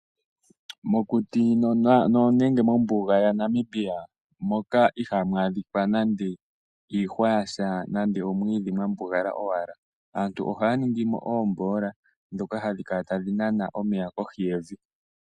Mokuti nenge mombuga yaNamibia moka iha mu adhika nande iihwa yasha nande omwiidhi mwambugala owala, aantu ohaya ningi mo oomboola dhoka hadhi kala tadhi nana omeya kohi yevi.